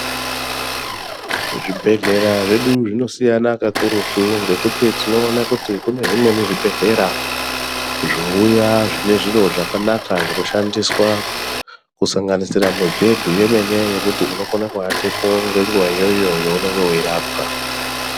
Zvibhehlera zvedu zvinosiyana kakurutu ngekuti tinoona kuti kune zvimweni zvibhehlera zvouya zvinozviro zvakanaka zvokushandiswa kusanganisira mubhedhu yemene yekuti unokona kuwatepo ngenguwa iyoyo yaunenge weirapwa.